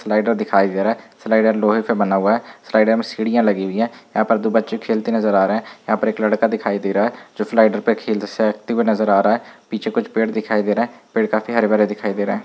Slider दिखाई दे रहा है स्लाइडर लोहे से बना हुआ है स्लाइडर में सीड़ियाँ लगी हुई हैं। यहाँ पे दो बच्चे खेलते हुए नज़र आ रहे हैं। यहाँ पे एक लड़का दिखाई दे रहा है जो स्लाइडर पे खेलते हुए नज़र आ रहा है पीछे कुछ पेड़ दिखा दे रहे हैं। पेड़ काफी हरे-भरे दिखाई दे रहे हैं।